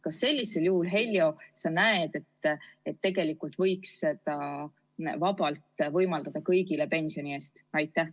Kas sellisel juhul, Heljo, sa näed, et tegelikult võiks seda vabalt võimaldada kõigile pensioni eest?